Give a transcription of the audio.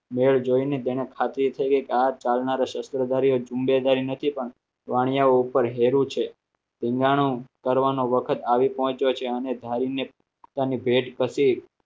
મેળ જોઈને તેને ખાધી છે કે આ ચાલનાર શસ્ત્રો આધારિત નથી પણ વાણીયાઓ ઉપર હેરું છે ધીંગાણું કરવાનો વખત આવી પહોંચ્યો છે અને ધારીને પોતાની ભેટ પછી